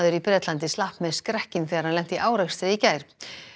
í Bretlandi slapp með skrekkinn þegar hann lenti í árekstri í gær